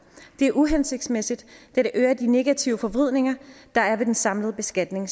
det er uhensigtsmæssigt da det øger de negative forvridninger der er ved den samlede beskatning